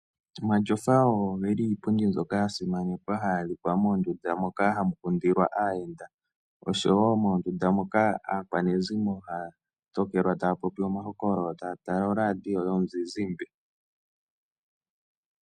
Omatyofa ogo iipundi mbyoka ya simana haga adhika moondunda moka hamu kundilwa aayenda. Ohamu kala aakwanezimo taa popi omahokololo yo taya tala oradio yomuzizimbe.